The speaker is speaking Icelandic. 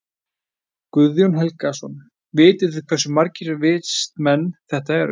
Guðjón Helgason: Vitið þið hversu margir vistmenn þetta eru?